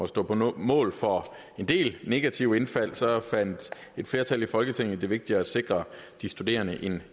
stå på mål for en del negative indfald fandt et flertal i folketinget det vigtigere at sikre de studerende